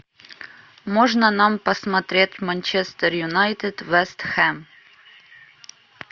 можно нам посмотреть манчестер юнайтед вест хэм